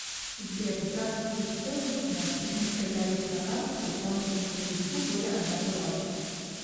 сбер здравствуйте хотелось бы узнать почему стоит арест на карту по исполнительному листу более одного раза